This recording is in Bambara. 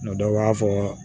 dɔ b'a fɔ